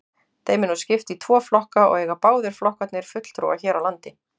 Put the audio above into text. Þeim er nú skipt í tvo flokka og eiga báðir flokkarnir fulltrúa hér á landi.